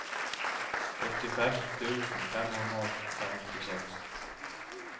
åttifem tusen fem hundre og femtiseks